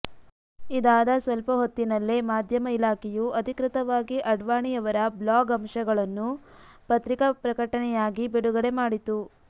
ಇದಾದ ಸ್ವಲ್ಪಹೊತ್ತಿನಲ್ಲೇ ಮಾಧ್ಯಮ ಇಲಾಖೆಯು ಅಧಿಕೃತವಾಗಿ ಅಡ್ವಾಣಿಯವರ ಬ್ಲಾಗ್ ಅಂಶಗಳನ್ನು ಪತ್ರಿಕಾ ಪ್ರಕಟನೆಯಾಗಿ ಬಿಡುಗಡೆ ಮಾಡಿತು